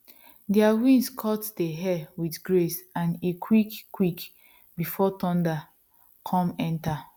their wings cut dey air with grace and e quick quick before thunder come enter